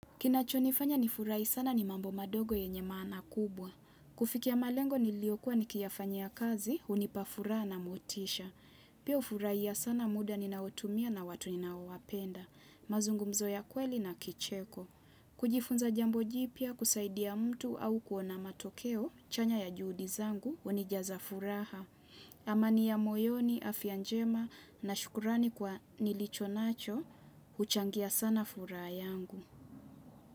Kinachonifanya ni furahi sana ni mambo madogo yenye maana kubwa. Kufikia malengo niliokua nikiyafanyia ya kazi, unipafuraha na motisha. Pia ufurai ya sana muda ninaotumia na watu ninaowapenda. Mazungu mzo ya kweli na kicheko. Kujifunza jambo ji pya kusaidia mtu au kuona matokeo, chanya ya juhudi zangu, unijaza furaha. Amani ya moyoni, afya njema na shukurani kwa nilicho nacho, uchangia sana furaha yangu.